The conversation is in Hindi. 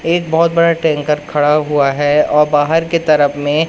एक बहुत बड़ा टैंकर खड़ा हुआ है और बाहर के तरफ में--